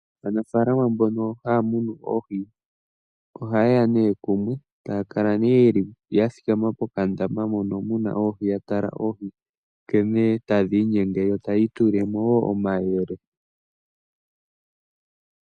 Aanafaalama mbono haya munu oohi, oha yeya nee kumwe eta ya kala nee ya thikama pokandama hono kena oohi, ya tala oohi nkene tadhi inyenge yo taya itulilemo wo omayele.